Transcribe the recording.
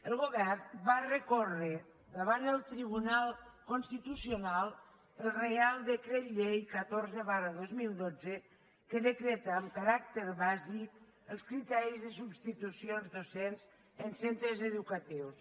el govern va recórrer davant el tribunal constitu·cional el reial decret llei catorze dos mil dotze que decreta amb caràcter bàsic els criteris de substitucions docents en centres educatius